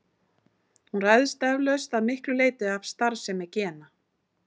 Hún ræðst eflaust að miklu leyti af starfsemi gena.